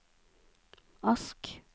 Ask